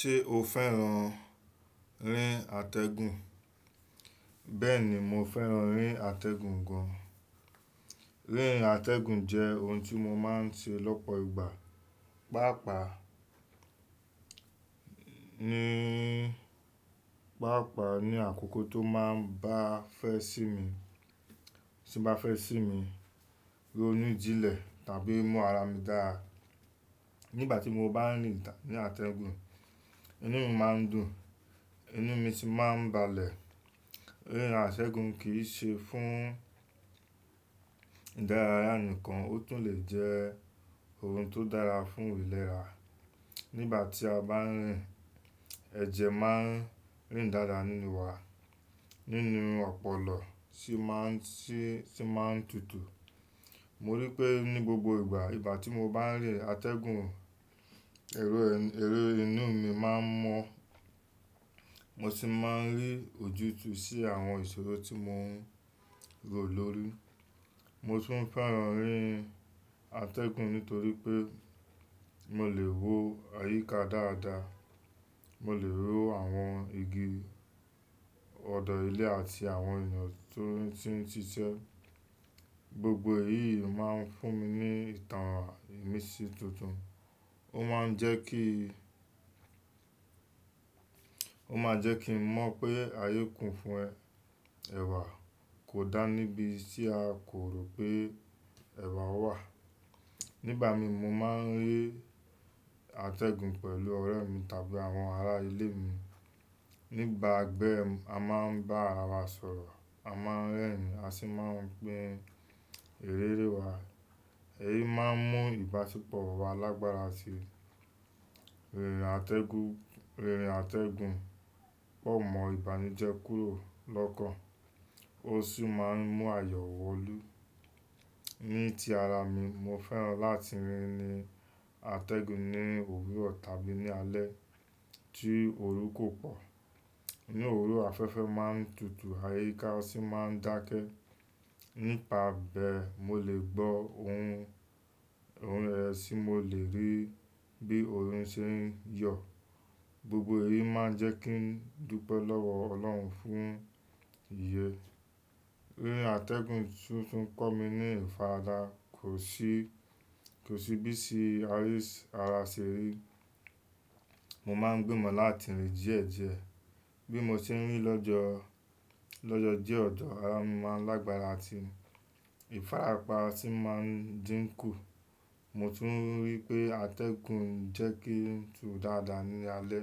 Ṣé o fẹ́ràn rí n àtẹ̀gùn? Bẹ́ẹ̀ni, mo fẹ́ràn rí n àtẹ̀gùn gan. Rí n àtẹ̀gùn jẹ́ ohun tí mo máa ń ṣe lọ́pọ̀ ìgbà. Pápàá ni, pápàá ni àkókò tó máa ń bá fẹ́ sí mi, tí bá fẹ́ sí mi ro nú jílẹ̀ tàbí mú ara mi dára. Nígbà tí mo bá ń rí àtẹ̀gùn, inú mi máa ń dùn, inú mi sì máa ń balẹ̀. Rí àtẹ̀gùn kì í ṣe fún ìdárayá nìkan, ó tún lè jẹ́ ohun tó dára fún ìlera. Nígbà tí a bá ń rín, ẹ̀jẹ̀ máa ń rìn dáadáa nínú wa, nínú ọpọlọ sì má ń sì sì má ń tutù. Mo rí i pé ní gbogbo ìgbà, ìgbà tí mo bá ń rín àtẹ̀gùn, ẹ̀rọ ẹ̀rọ inú mi máa ń mọ́, mo sì máa ń rí ojútùú sí àwọn ìṣòro tí mò ń rò lórí. Mo tún fẹ́ràn rín àtẹ̀gùn nítorí pé mo lè wo àyíká dáadáa. Mo lè wo àwọn igi, ọ̀dọ́ ilé àti àwọn èèyàn tó ti ń ṣiṣẹ́. Gbogbo èyí máa ń fún mi ní ìtàn ìmisí tuntun. Ó máa ń jẹ́ kí, ó máa jẹ́ kí n mọ pé ayé kún fún ẹ ẹ̀wà kò dá níbi tí a kò rò pé ẹ̀wà wà. Nígbà mi mo máa ń rí àtẹ̀gùn pẹ̀lú ọ̀rẹ́ mi tàbí àwọn ará ilé mi. Nígbà bẹ a máa ń bá ara wa sọ̀rọ̀, a máa ń rẹ́rìn-ín a sì máa ń pin iriri wa. Èyí máa ń mú ìbáṣepọ̀ wa lágbára sí i. Rírin àtẹ̀gùn rírin àtẹ̀gùn pọ̀ mọ́ ìbànújẹ́ kúrò lọ́kàn. Ó sì máa ń mú àyò wọ nú. Ní ti ara mi, mo fẹ́ràn láti rí ni àtẹ̀gùn ní òwúrọ̀ tàbí ní alẹ́ tí orú kò pọ̀. Ní òwúrọ̀ afẹ́fẹ́ máa ń tutù, àyíká sì máa ń dákẹ́. Nípa bẹ, mo lè gbó ohun ohun rẹ̀ tí mo lè rí bí orin ṣe ń yọ̀. Gbogbo èyí máa ń jẹ́ kí n dúpẹ́ lọ́wọ́ ọlọ́run fún iye. Rírin àtẹ̀gùn tún tún kọ́ mi ní ìfaradà. Kò sí kò sí bí iṣi arís ara ṣe rí. Mo máa ń gbìmọ̀ láti rí díẹ̀ díẹ̀. Bí mo ṣe ń rí lọ́jọ́ lọ́jọ́ dẹ̀ ọ̀jọ̀ ará mi máa ń lágbára sì, ìfarapa sì máa ń dínkù. Mo tún rí pé àtẹ̀gùn ń jẹ́ kí sun dáadáa ní alẹ́.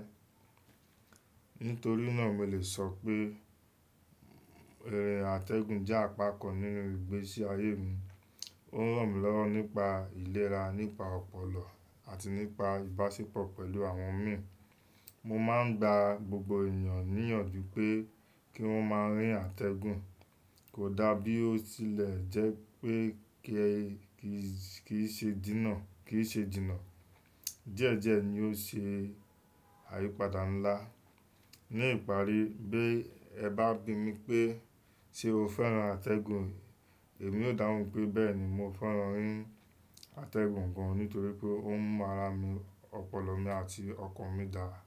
Nítorí náà mo lè sọ pé àtẹ̀gùn jẹ́ àpakàn nínú ìgbésí ayé mi. Ó ń ràn mí lọ́rọ́ nípa ìlera, nípa ọpọlọ àti nípa ìbáṣepọ̀ pẹ̀lú àwọn mi. Mo máa ń gba gbogbo ènìyàn níyànjú pé kí wọ́n máa rí n àtẹ̀gùn. Kò dá bí ó tilẹ̀ jẹ́ pé kí ẹ kì í ṣe jìnnà kì í ṣe jìnnà. Díẹ̀ díẹ̀ ni yóò ṣe àyípadà ńlá. Ní ìparí, bí ẹ bá bi mí pé, "Ṣé o fẹ́ràn àtẹ̀gùn?" Èmi ó dáhùn pé, "Bẹ́ẹ̀ni, mo fẹ́ràn rí n àtẹ̀gùn gan." Nítorí pé ó ń mú ara mi, ọpọlọ mi àti ọkàn mi dára.